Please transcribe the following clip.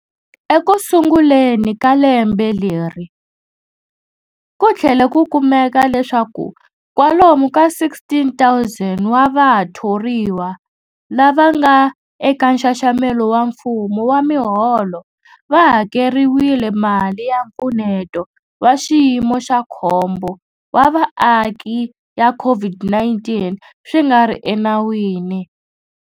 Ekusunguleni ka lembe leri, ku tlhele ku kumeka leswaku kwalomu ka 16,000 wa vathoriwa lava nga eka nxaxamelo wa mfumo wa miholo va hakeriwile mali ya Mpfuneto wa Xiyimo xa Khombo wa Vaaki ya COVID-19 swi nga ri enawini.